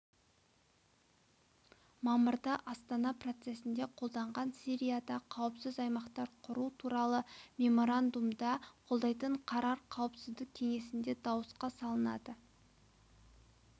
мамырда астана процесінде қабылданған сирияда қауіпсіз аймақтар құру туралы меморандумды қолдайтын қарар қауіпсіздік кеңесінде дауысқа салынады